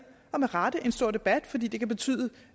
en stor debat fordi det kan betyde